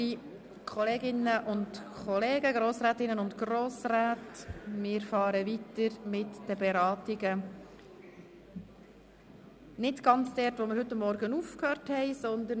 Werte Kolleginnen und Kollegen, wir fahren mit der Beratung nicht ganz am selben Punkt fort, an welchem wir heute Morgen geendet haben.